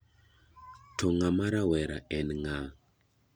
To ng'ama rawera en nga'?